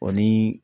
O ni